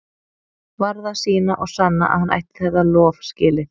Varð að sýna og sanna að hann ætti þetta lof skilið.